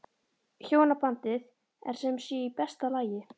Hjónabandið er sem sé í besta lagi?